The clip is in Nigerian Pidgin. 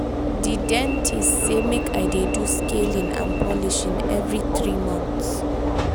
di dentist sey sey make i dey do scaling and polishing every three months.